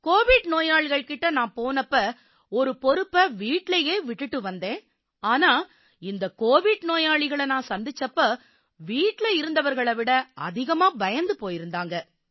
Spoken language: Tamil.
கோவிட் நோயாளிகள் கிட்ட நான் போனப்ப ஒரு பொறுப்பை வீட்டிலேயே விட்டுட்டு வந்தேன் ஆனா இந்த கோவிட் நோயாளிகளை நான் சந்திச்சப்ப வீட்டில இருந்தவர்களை விட அதிகமா பயந்து போயிருந்தாங்க